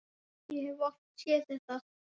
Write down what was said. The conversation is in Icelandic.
Ég hef oft séð þetta.